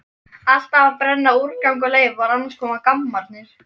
Alltaf að brenna úrgang og leifar, annars koma gammarnir!